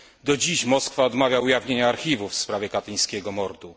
Do dziś Moskwa odmawia ujawnienia archiwów w sprawie katyńskiego mordu.